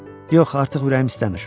Yox, artıq ürəyim istəmir.